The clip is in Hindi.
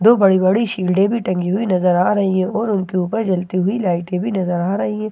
दो बड़ी बड़ी शील्डे भी टंगी हुई नजर आ रही है और उनके ऊपर चलती हुई लाइटे भी नजर आ रही है एक बड़ा सा--